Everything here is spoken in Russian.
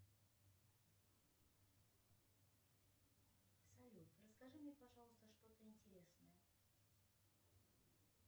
салют расскажи мне пожалуйста что то интересное